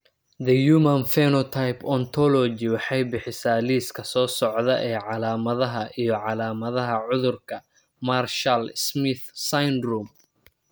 The Human Phenotype Ontology waxay bixisaa liiska soo socda ee calaamadaha iyo calaamadaha cudurka Marshall Smith syndrome.